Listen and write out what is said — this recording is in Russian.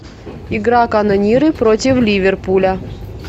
игра канониры против ливерпуля